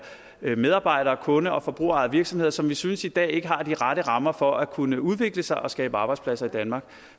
medarbejder kunde og forbrugerejede virksomheder som vi synes i dag ikke har de rette rammer for at kunne udvikle sig og skabe arbejdspladser i danmark